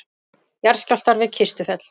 Jarðskjálftar við Kistufell